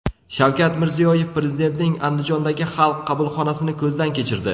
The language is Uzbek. Shavkat Mirziyoyev Prezidentning Andijondagi Xalq qabulxonasini ko‘zdan kechirdi.